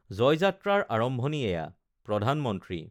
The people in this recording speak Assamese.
জয়যাত্ৰাৰ আৰম্ভণি এয়া প্ৰধানমন্ত্ৰী